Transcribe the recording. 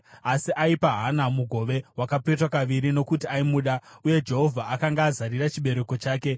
Asi aipa Hana mugove wakapetwa kaviri nokuti aimuda, uye Jehovha akanga azarira chibereko chake.